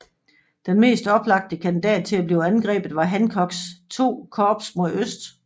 Den mest oplagte kandidat til at blive angrebet var Hancocks II Korps mod øst